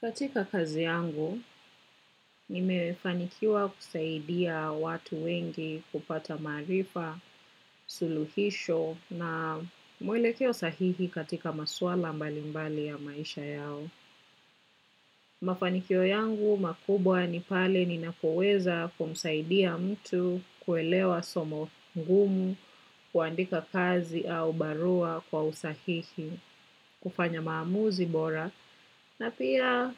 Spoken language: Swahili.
Katika kazi yangu, nimefanikiwa kusaidia watu wengi kupata maarifa, suluhisho na mwelekeo sahihi katika maswala mbalimbali ya maisha yao. Mafanikio yangu makubwa ni pale ninapoweza kumsaidia mtu kuelewa somo ngumu, kuandika kazi au barua kwa usahihi, kufanya maamuzi bora na pia